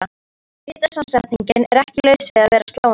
Litasamsetningin er ekki laus við að vera sláandi.